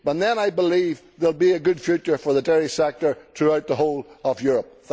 Then I believe there will be a good future for the dairy sector throughout the whole of Europe.